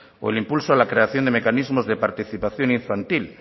o el impulso de la creación de mecanismos de participación infantil